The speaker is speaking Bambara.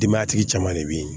Denbatigi caman de bɛ yen